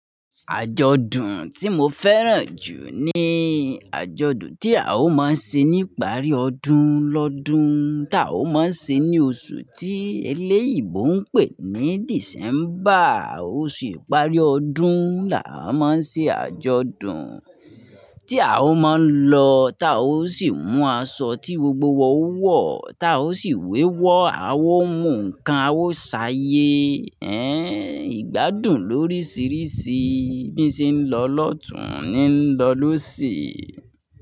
Àjọ̀dún tí mo fẹ́ràn jù ni àjọ̀dún tí a ó máa ń ṣe ní ìparí ọdún. Lọ́dún tí a ó máa ń ṣe ní oṣù tí eléèyìn bó ń pè ní December, oṣù ìparí ọdún làá máa ń ṣe àjọ̀dún. Tí a ó máa ń lọ, tí a ó sì mú aṣọ tí gbogbo wa ó wọ̀, tí a ó sì wéwọ́, a ó mú nǹkan a ó ṣayé. Ẹ̀, ìgbádùn lórísìírísìí, bí ń ṣe ń lọ lọ́tùn ni ń lọ lósì.